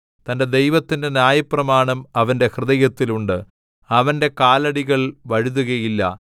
തന്റെ ദൈവത്തിന്റെ ന്യായപ്രമാണം അവന്റെ ഹൃദയത്തിൽ ഉണ്ട് അവന്റെ കാലടികൾ വഴുതുകയില്ല